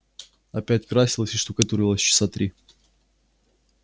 опять красилась и штукатурилась часа три